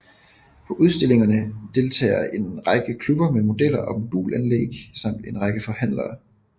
På udstillingerne deltager en række klubber med modeller og modulanlæg samt en række forhandlere